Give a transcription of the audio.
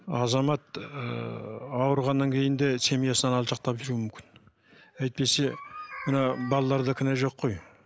азамат ыыы ауырғаннан кейін де семьясынан алшақтап жүруі мүмкін әйтпесе мына балаларда кінә жоқ қой